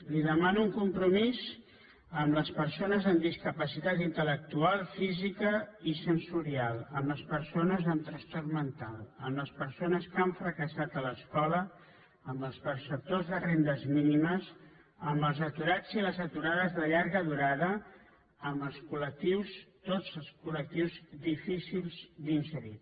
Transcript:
li demano un compromís amb les persones amb discapacitat intelsensorial amb les persones amb trastorn mental amb les persones que han fracassat a l’escola amb els perceptors de rendes mínimes amb els aturats i les aturades de llarga durada amb els col·lectius tots els collectius difícils d’inserir